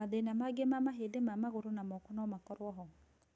Mathĩna mangĩ ma mahĩndĩ ma magũrũ na moko nomakorwo ho